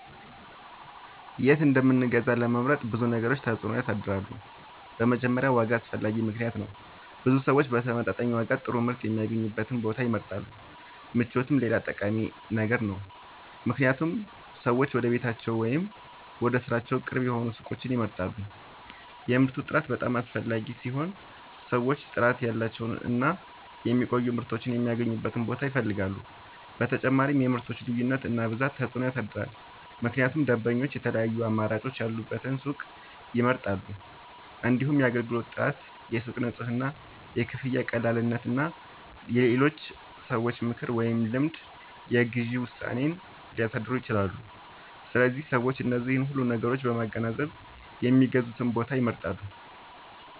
የት እንደምንገዛ ለመምረጥ ብዙ ነገሮች ተጽዕኖ ያሳድራሉ። በመጀመሪያ ዋጋ አስፈላጊ ምክንያት ነው፤ ብዙ ሰዎች በተመጣጣኝ ዋጋ ጥሩ ምርት የሚያገኙበትን ቦታ ይመርጣሉ። ምቾትም ሌላ ጠቃሚ ነገር ነው፣ ምክንያቱም ሰዎች ወደ ቤታቸው ወይም ወደ ሥራቸው ቅርብ የሆኑ ሱቆችን ይመርጣሉ። የምርቱ ጥራት በጣም አስፈላጊ ሲሆን ሰዎች ጥራት ያላቸውን እና የሚቆዩ ምርቶችን የሚያገኙበትን ቦታ ይፈልጋሉ። በተጨማሪም የምርቶች ልዩነት እና ብዛት ተጽዕኖ ያሳድራል፣ ምክንያቱም ደንበኞች የተለያዩ አማራጮች ያሉበትን ሱቅ ይመርጣሉ። እንዲሁም የአገልግሎት ጥራት፣ የሱቁ ንጽህና፣ የክፍያ ቀላልነት እና የሌሎች ሰዎች ምክር ወይም ልምድ የግዢ ውሳኔን ሊያሳድሩ ይችላሉ። ስለዚህ ሰዎች እነዚህን ሁሉ ነገሮች በማገናዘብ የሚገዙበትን ቦታ ይመርጣሉ።